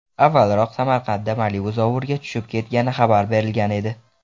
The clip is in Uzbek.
Avvalroq Samarqandda Malibu zovurga tushib ketgani xabar berilgan edi .